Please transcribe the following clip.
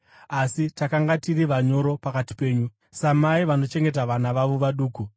asi takanga tiri vanyoro pakati penyu, samai vanochengeta vana vavo vaduku.